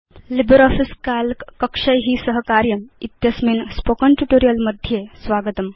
LibreOffice Calc कक्षै सह कार्यम् इत्यस्मिन् स्पोकेन ट्यूटोरियल् मध्ये स्वागतम्